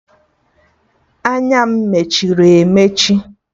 Anya m mechiri emechi